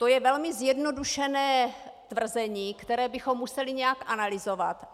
To je velmi zjednodušené tvrzení, které bychom museli nějak analyzovat.